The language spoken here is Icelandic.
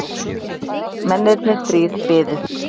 Mennirnir þrír biðu.